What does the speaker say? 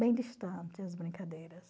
Bem distante as brincadeiras.